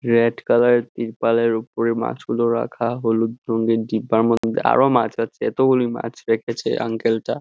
Red colour -এর ডিব্বার উপরে মাছগুলো রাখা হলুদ রঙ্গীন ডিব্বার মধ্যে আরও মাছ আছে এতগুলি মাছ রেখেছে আঙ্কেল টা।